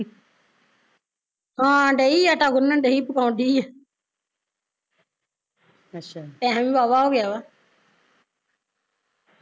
ਹਾਂ ਡਈ ਸੀ ਆਟਾ ਗੁਨਣ ਡਈ ਸੀ ਪਕਾਉਂਦੀ ਸੀ ਟੈਮ ਵੀ ਵਾਵਾਂ ਹੋਗਿਆ ਵਾਂ